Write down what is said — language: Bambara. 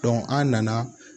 an nana